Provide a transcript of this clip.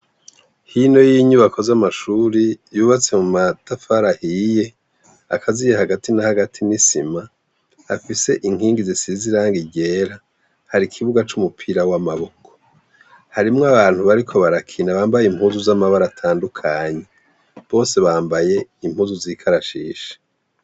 Hino y’inyubako z’amashure yubatse mumatafari ahiye akaziye, hagati na hagati n’isima, afise inkingi zisize irangi ryera, hari ikibuga c’umupira w’amaboko, harimwo abantu bariko barakina bambaye impuzu z’amabara atandukanye, bose bambaye impuzu z’ikarashishi.